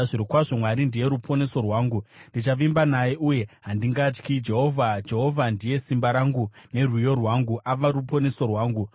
Zvirokwazvo Mwari ndiye ruponeso rwangu; ndichavimba naye uye handingatyi. Jehovha, Jehovha ndiye simba rangu nerwiyo rwangu; ava ruponeso rwangu.”